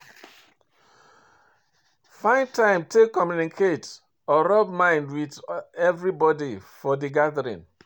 Find time to take communicate or rub mind with everybody for di gathering